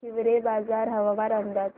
हिवरेबाजार हवामान अंदाज